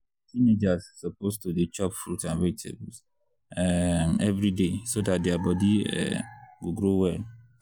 teenagers suppose to dey chop fruit and vegetables um every day so dat their body um go grow well.